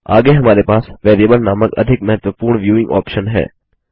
आगे हमारे पास वेरिएबल नामक अधिक महत्वपूर्ण व्यूइंग ऑप्शन है